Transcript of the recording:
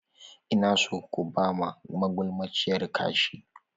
Ina son ku ba ma magulmaciyar kashi!